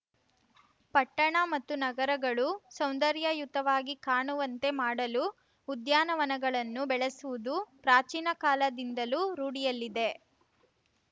ಪಟ್ಟಣ ಮತ್ತು ನಗರಗಳು ಸೌಂದರ್ಯಯುತವಾಗಿ ಕಾಣುವಂತೆ ಮಾಡಲು ಉದ್ಯಾನವನಗಳನ್ನು ಬೆಳೆಸುವುದು ಪ್ರಾಚೀನ ಕಾಲದಿಂದಲೂ ರೂಢಿಯಲ್ಲಿದೆ